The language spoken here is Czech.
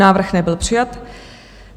Návrh nebyl přijat.